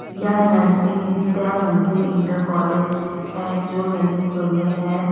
यह Narsingh Vidya Mandir inter college है जो ललितपुर में है।